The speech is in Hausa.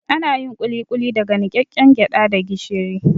Anayin kulikuli daga niƙaƙƙen gyaɗa da gishiri